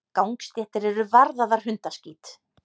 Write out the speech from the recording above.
Gangstéttir eru varðaðar hundaskít.